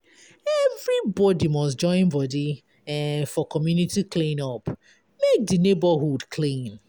Everybody must joinbody um for community clean-up make di neighborhood clean.